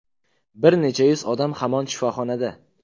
Bir necha yuz odam hamon shifoxonada.